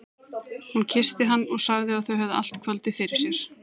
Hún kyssti hann og sagði að þau hefðu allt kvöldið fyrir sér.